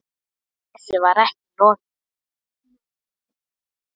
Þessu var ekki lokið, nei.